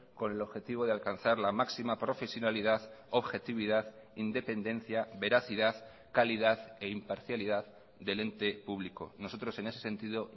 con el objetivo de alcanzar la máxima profesionalidad objetividad independencia veracidad calidad e imparcialidad del ente público nosotros en ese sentido